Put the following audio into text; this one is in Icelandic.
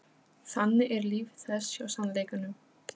Þannig er líf þess hjá sannleikanum.